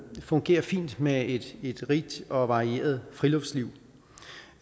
fungerer fint med et rigt og varieret friluftsliv